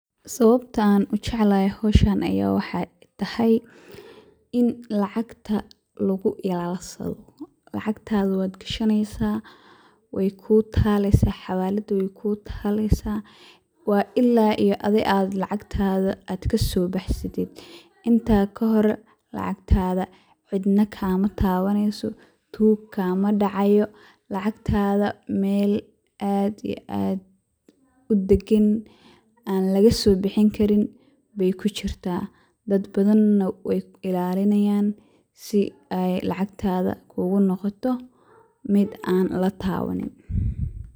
Sababta aan ujeclahay howshan ayaa waxaay tahay, in lacagta lagu ilaalsado, lacagtaada waad gashaneysa, waay kuu taaleysa xawalada waay kuu taaleysa, waa ilaa iyo adhi lacagtaada aad kasoo baxsatid, intaa kahor lacagtaada cidna kama taabaneyso, tuug kaama dacaayo, lacagtaada meel aad iyo aad udagan aan laga soo bixin Karin baay kujirtaa, dad badan na waay ilaalinaayan, si aay lacagtaada unoqota mid aan lataabanin.